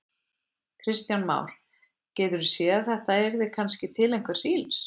Kristján Már: Geturðu séð að þetta yrði kannski til einhvers ills?